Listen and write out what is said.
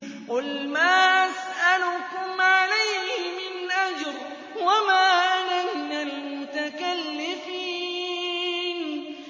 قُلْ مَا أَسْأَلُكُمْ عَلَيْهِ مِنْ أَجْرٍ وَمَا أَنَا مِنَ الْمُتَكَلِّفِينَ